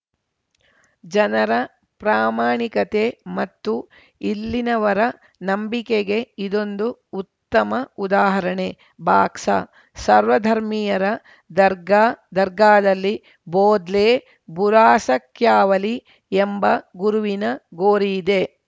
ಜನರ ಪ್ರಾಮಾಣಿಕತೆ ಮತ್ತು ಇಲ್ಲಿನವರ ನಂಬಿಕೆಗೆ ಇದೊಂದು ಉತ್ತಮ ಉದಾಹರಣೆ ಬಾಕ್ಸ ಸರ್ವಧರ್ಮಿಯರ ದರ್ಗಾದರ್ಗಾದಲ್ಲಿ ಬೊದ್ಲೇ ಬುರಾಸಕ್ಯಾವಲಿ ಎಂಬ ಗುರುವಿನ ಗೋರಿಯಿದೆ